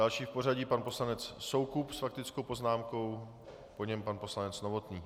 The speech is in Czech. Další v pořadí pan poslanec Soukup s faktickou poznámkou, po něm pan poslanec Novotný.